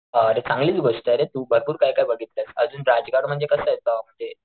अरे चांगलीच गोष्टय रे तू भरपूर काय काय बघितलंयस अजून राजगड म्हणजे कस येत म्हणजे,